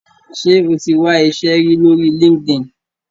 Ṣe o tí wá iṣé rí lori Linkedin?